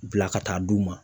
Bila ka taa d'u ma.